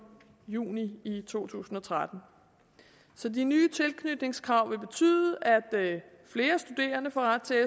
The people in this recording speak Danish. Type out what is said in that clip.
juni to tusind og tretten så de nye tilknytningskrav til betyde at flere studerende får ret til